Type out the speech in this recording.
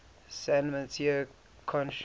san mateo county